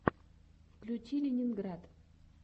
включи ленинград